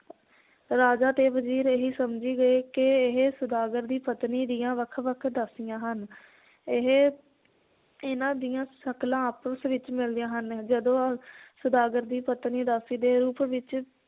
ਰਾਜਾ ਤੇ ਵਜ਼ੀਰ ਇਹੀ ਸਮਝੀ ਗਏ ਕਿ ਇਹ ਸੌਦਾਗਰ ਦੀ ਪਤਨੀ ਦੀਆਂ ਵੱਖ ਵੱਖ ਦਾਸੀਆਂ ਹਨ ਇਹ ਇਹਨਾਂ ਦੀਆਂ ਸ਼ਕਲਾਂ ਆਪਸ ਵਿਚ ਮਿਲਦੀਆਂ ਹਨ ਜਦੋਂ ਸੌਦਾਗਰ ਦੀ ਪਤਨੀ ਦਾਸੀ ਦੇ ਰੂਪ ਵਿਚ